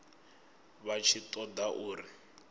vha tshi ṱo ḓa uri